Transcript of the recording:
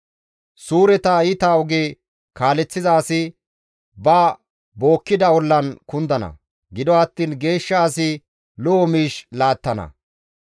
Suureta iita oge kaaleththiza asi ba bookkida ollan kundana; gido attiin geeshsha asi lo7o miish laattana.